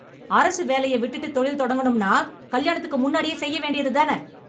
அரசு வேலைய விட்டுட்டு தொழில் தொடங்கணும்னா கல்யாணத்துக்கு முன்னாடியே செய்ய வேண்டியது தான?